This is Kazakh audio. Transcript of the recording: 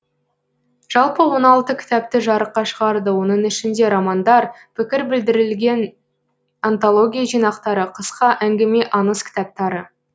жалпы он алты кітапты жарыққа шығарды оның ішінде романдар пікір білдіріліген антология жинақтары қысқа әңгіме аңыз кітаптары